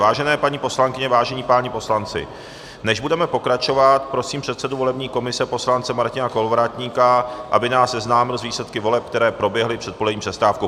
Vážené paní poslankyně, vážení páni poslanci, než budeme pokračovat, prosím předsedu volební komise poslance Martina Kolovratníka, aby nás seznámil s výsledky voleb, které proběhly před polední přestávkou.